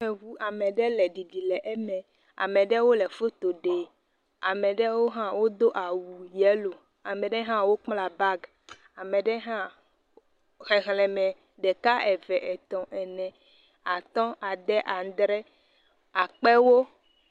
Ame ɖe ƒe ʋu. Ame ɖe le ɖiɖim le eme. Ame aɖewo le foto ɖe. Ame aɖewo hã wodo awu yelo. Ame aɖewo hã wò kpla bagi. Ame ɖe hã xexlẽme ɖeka, eve , etɔ, ene, atɔ, ade, adre akpewo.